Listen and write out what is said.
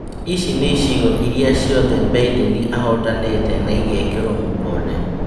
Ici nĩ icigo iria ciothe Mbideni ahotanĩte na ĩgekĩrwo mũkonde.